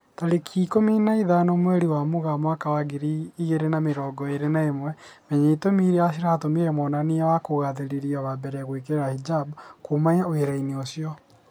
Tarĩki ikũmi na ithano mweri wa Mũgaa mwaka wa ngiri igĩri na mĩrongo ĩri na ĩmwe, Menya itũmi irĩa ciatũmire mwonania wa kugathĩrĩria wa mbere gwĩkira hijab "kuma wĩra-inĩ ucio"